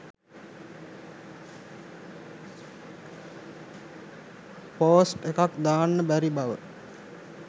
post එකක් දාන්න බැරි බව